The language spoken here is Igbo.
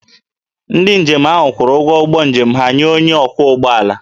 Ndị njem ahụ kwụrụ ụgwọ ụgbọ njem ha nye onye ọkwọ ụgbọala